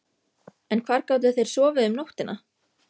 En hvar gátu þeir sofið um nóttina?